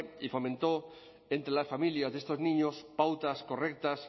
y fomentó entre las familias de estos niños pautas correctas